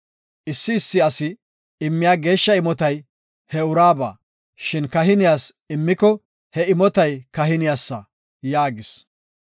Issi issi asi immiya geeshsha imotay he uraaba, shin kahiniyas immiko he imotay kahiniyasa” yaagis.